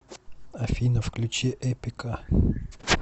афина включи эпика